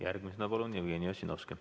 Järgmisena palun Jevgeni Ossinovski.